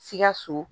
Sikaso